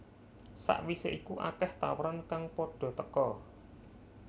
Sakwise iku akeh tawaran kang padha teka